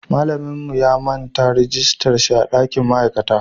Mallan mu ya manta rijistar shi a dankin ma'aikata